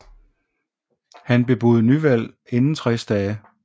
Han bebudede nyvalg inden 60 dage